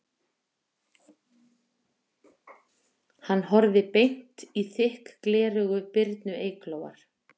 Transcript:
Hann horfði beint í þykk gleraugu Birnu Eyglóar